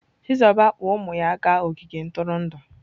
Chizuba kpọọrọ ụmụ ya gaa ogige ntụrụndụ.